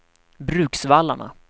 Bruksvallarna